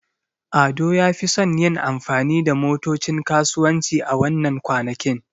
Ado ya fi son yin amfani da motocin kasuwanci a wannan kwanakin.